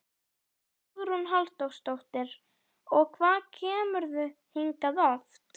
Hugrún Halldórsdóttir: Og hvað kemurðu hingað oft?